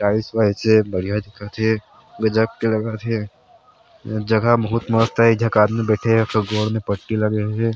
Tiles वाइल्स हे बढ़िया दिखत हे गजब के लगथे जगह बहुत मस्त हे एक झक आदमी बैठे हे ओकर गोड़ मे पट्टी लगे हे।